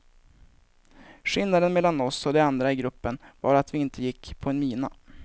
Skillnaden mellan oss och de andra i gruppen var att vi inte gick på en mina.